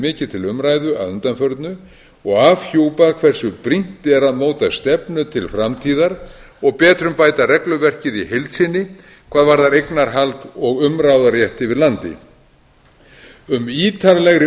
mikið til umræðu að undanförnu og afhjúpað hversu brýnt er að móta stefnu til framtíðar og betrumbæta regluverkið í heild sinni hvað varðar eignarhald og umráðarétt yfir landi um ítarlegri